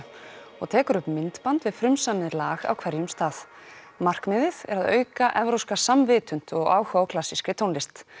og tekur upp myndband við frumsamið lag á hverjum stað markmiðið er að auka evrópska og áhuga á klassískri tónlist